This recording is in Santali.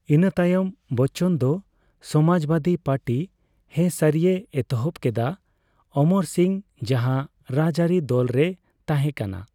ᱤᱱᱟᱹᱛᱟᱭᱚᱢ ᱵᱚᱪᱪᱚᱱ ᱫᱚ ᱥᱚᱢᱟᱡᱵᱟᱹᱫᱤ ᱯᱟᱹᱴᱤᱭ ᱦᱮᱥᱟᱹᱨᱤᱭᱮ ᱮᱛᱚᱦᱚᱯ ᱠᱮᱫᱟ, ᱚᱢᱚᱨ ᱥᱤᱝ ᱡᱟᱦᱟ ᱨᱟᱡᱟᱹᱨᱤ ᱫᱚᱞ ᱨᱮᱭ ᱛᱟᱦᱮᱠᱟᱱᱟ ᱾